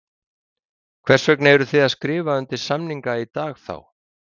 Hvers vegna eruð þið að skrifa undir samninga í dag þá?